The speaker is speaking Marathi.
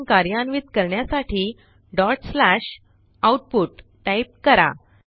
प्रोग्रॅम कार्यान्वित करण्यासाठी डॉट स्लॅश आउटपुट टाईप करा